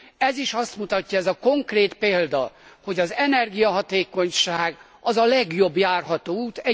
Ez is azt mutatja, ez a konkrét példa, hogy az energiahatékonyság a legjobb járható út.